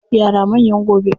Yara manyan gobe.